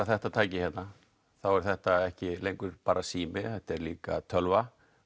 þetta tæki hérna þá er þetta ekki lengur bara sími þetta er líka tölva